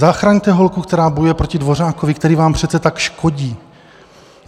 Zachraňte holku, která bojuje proti Dvořákovi, který vám přece tak škodí.